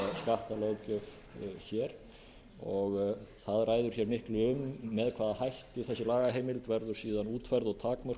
það ræður miklu um með hvaða hætti þessi lagaheimild verður síðan útfærð og takmörkuð